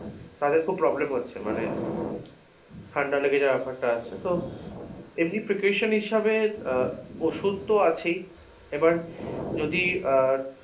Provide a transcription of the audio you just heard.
তাদের খুব problem হচ্ছে মানে ঠান্ডা লেগে যাওয়ার বেপারটা আছে তো এমনি precaution হিসাবে আহ ওষুধ তো আছেই, এবার যদি আহ